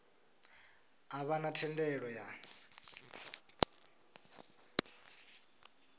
a vha na thendelo ya